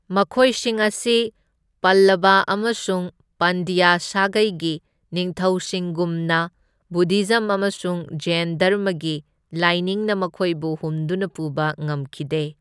ꯃꯈꯣꯏꯁꯤꯡ ꯑꯁꯤ ꯄꯜꯂꯕ ꯑꯃꯁꯨꯡ ꯄꯥꯟꯗ꯭ꯌ ꯁꯥꯒꯩꯒꯤ ꯅꯤꯡꯊꯧꯁꯤꯡꯒꯨꯝꯅ ꯕꯨꯗꯙꯤꯖꯝ ꯑꯃꯁꯨꯡ ꯖꯩꯢꯟ ꯙꯔꯃꯒꯤ ꯂꯥꯏꯅꯤꯡꯅ ꯃꯈꯣꯏꯕꯨ ꯍꯨꯝꯗꯨꯅ ꯄꯨꯕ ꯉꯝꯈꯤꯗꯦ꯫